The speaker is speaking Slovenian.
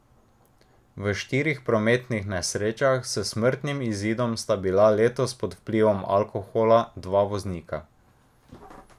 V štirih prometnih nesrečah s smrtnim izidom sta bila letos pod vplivom alkohola dva voznika.